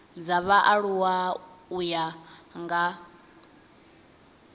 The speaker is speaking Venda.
dza vhaaluwa u ya nga